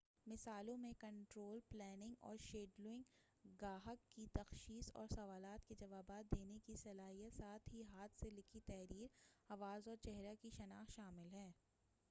مثالوں میں control planning اور شیڈولنگ گاہک کی تشخیص اور سوالات کے جوابات دینے کی صلاحیت ساتھ ہی ہاتھ سے لکھی تحریر آواز اور چہرہ کی شناخت شامل ہے